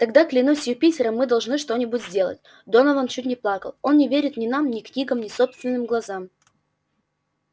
тогда клянусь юпитером мы должны что-нибудь сделать донован чуть не плакал он не верит ни нам ни книгам ни собственным глазам